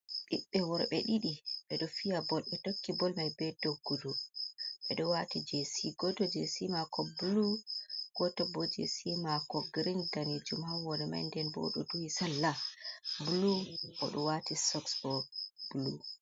Ɓiɓɓe worɓe ɗiɗi. Ɓe ɗo fiya bol, ɓe tokki bol mai be doggudu, ɓe ɗo waati jesi. Goto jesi maako bulu, goto bo jesi maako girin daneejum haa hore mai, nden bo oɗo duhi salla bulu, oɗo waati soks bo bulu.